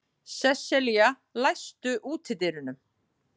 Sesselía, læstu útidyrunum.